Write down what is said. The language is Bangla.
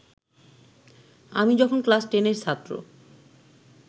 আমি যখন ক্লাস টেনের ছাত্র